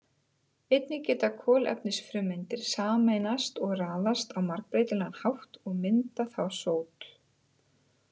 Einnig geta kolefnisfrumeindir sameinast og raðast á margbreytilegan hátt og mynda þá sót.